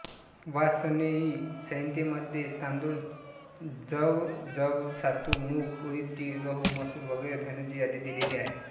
वाजसनेयी संहितेमध्ये तांदूळ जवयवसातू मूग उडीद तीळ गहू मसूर वगैरे धान्यांची यादी दिलेली आहे